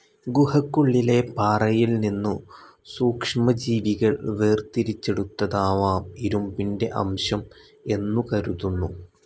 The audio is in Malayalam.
ഗുഹയ്ക്കുള്ളിലെ പാറയിൽനിന്നു സൂക്ഷ്മ ജീവികൾ വേർതിരിച്ചെടുത്തതാവാം ഇരുമ്പിന്റെ അംശം എന്നുകരുതുന്നു.